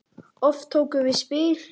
Oft tókum við spil.